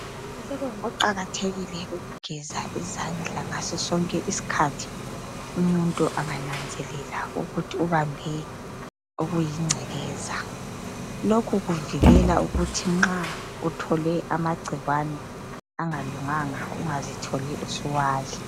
Kuqakathekile ukugeza izandla ngaso sonke isikhathi umuntu engananzelela ukuthi ubambe okuyingcekeza lokhu kuvikela ukuthi nxa uthole amagcikwane angalunganga ungazitholi usuwadla.